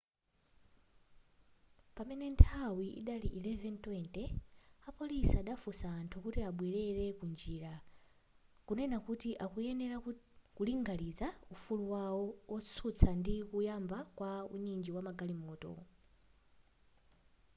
pamene nthawi idali 11:20 apolisi adafunsa anthu kuti abwerele ku njira kunena kuti akuyenera ku linganiza ufulu wawo wotsutsa ndi kuyamba kwa unyinji wa magalimoto